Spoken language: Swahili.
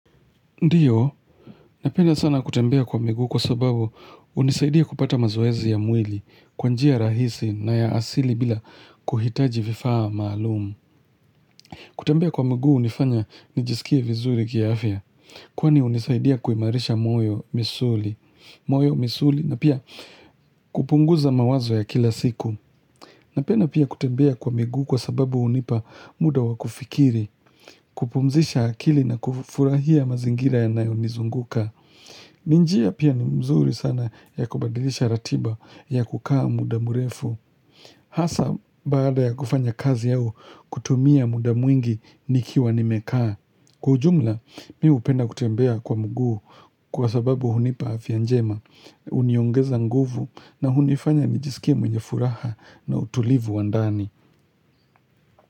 Ndiyo, napenda sana kutembea kwa miguu kwa sababu unisaidia kupata mazoezi ya mwili, kwanjia rahisi na ya asili bila kuhitaji vifaa maalumu. Kutembea kwa miguu unifanya nijisikie vizuri kiaafya, kwani unisaidia kuimarisha moyo, misuli, moyo, misuli na pia kupunguza mawazo ya kila siku. Napenda pia kutembea kwa miguu kwa sababu unipa muda wakufikiri, kupumzisha akili na kufurahia mazingira ya nayo nizunguka. Ninjia pia ni mzuri sana ya kubadilisha ratiba ya kukaa mudamurefu Hasa baada ya kufanya kazi au kutumia mudamwingi nikiwa nimekaa Kujumla miu upenda kutembea kwa mguu kwa sababu hunipa afyanjema Uniongeza nguvu na hunifanya nijisikie mwenye furaha na utulivu wandani.